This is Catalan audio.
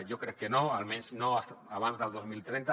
jo crec que no almenys no abans del dos mil trenta